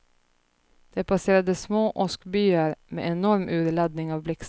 Det passerade små åskbyar med enorm urladdning av blixtar.